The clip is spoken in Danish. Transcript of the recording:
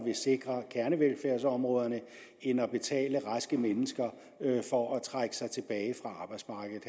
vil sikre kernevelfærdsområderne end at betale raske mennesker for at trække sig tilbage fra arbejdsmarkedet